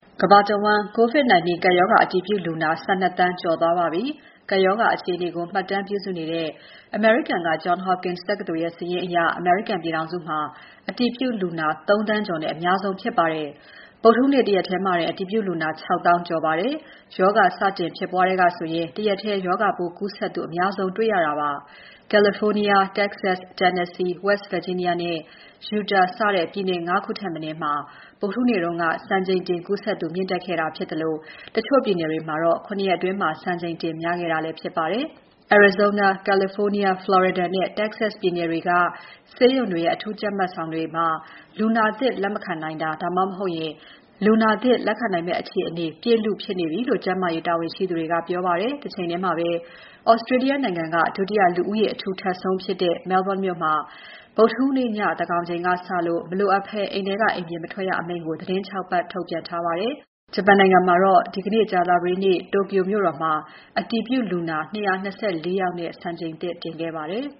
ကမ္ဘာတဝန်း COVID-19 ကပ်ရောဂါ အတည်ပြုလူနာ ၁၂ သန်းကျော်သွားပါပြီ။ ကပ်ရောဂါအခြေအနေကို မှတ်တမ်းပြုစုနေတဲ့ အမေရိကန်က Johns Hopkins တက္ကသိုလ်ရဲ့စာရင်းအရ အမေရိကန်ပြည်ထောင်စုမှာ အတည်ပြုလူနာ ၃,၀၀၀,၀၀၀ ကျော်နဲ့ အများဆုံးဖြစ်ပါတယ်။ ဗုဒ္ဓဟူးနေ့ တရက်ထဲမှာတင် အတည်ပြုလူနာ ၆၀,၀၀၀ ကျော်ပါတယ်။ ရောဂါစတင်ဖြစ်ပွားကတည်းကဆိုရင် တရက်ထဲ ရောဂါပိုးကူးစက်သူ အများဆုံး တွေ့ရတာဖြစ်ပါတယ်။ California, Texas, Tennessee, West Virginia နဲ့ Utah စတဲ့ ပြည်နယ် ၅ ခုထက်မနည်းမှာ ဗုဒ္ဓဟူးနေ့က စံချိန်တင်ကူးစက်သူ မြင့်တက်ခဲ့တာဖြစ်သလို တချို့ပြည်နယ်တွေမှာတော့ ၇ ရက်အတွင်း စံချိန်တင်များခဲ့တာလည်းဖြစ်ပါတယ်။ Arizona, California, Florida နဲ့ Texas ပြည်နယ်တွေက ဆေးရုံတွေရဲ့ အထူးကြပ်မတ်ဆောင် ICU တွေမှာ လူနာသစ်လက်မခံနိုင်တာ ဒါမှမဟုတ် လူနာသစ်လက်ခံနိုင်မယ့်အခြေအနေ ပြည့်လုဖြစ်နေပြီလို့ ကျန်းမာရေးတာဝန်ရှိသူတွေက ပြောပါတယ်။ တချိန်ထဲမှာပဲ Australia နိုင်ငံက ဒုတိယ လူဦးရေ အထူထပ်ဆုံးဖြစ်တဲ့ Melbourne မြို့မှာ ဗုဒ္ဓဟူးနေ့ည သန်းခေါ်ချိန်ကစလို့ မလိုအပ်ဘဲ အိမ်ထဲက အိမ်ပြင် မထွက်ရအမိန့် ကို သီတင်း ၆ ပတ် ထုတ်ပြန်ထားပါတယ်။ ဂျပန်နိုင်ငံမှာတော့ ဒီနေ့ Tokyo မြို့တော်မှာ အတည်ပြုလူနာ ၂၂၄ ယောက်နဲ့ စံချိန်သစ်တင်ခဲ့ပါတယ်